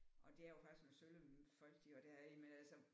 Det er jo faktisk nogle sølle folk de har deri men altså